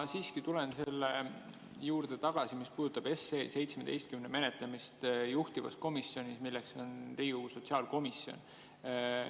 Ma siiski tulen selle juurde tagasi, mis puudutab seaduseelnõu 17 menetlemist juhtivkomisjonis, milleks on Riigikogu sotsiaalkomisjon.